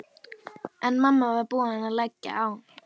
En mamma var búin að leggja á.